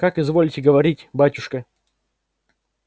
как изволите говорить батюшка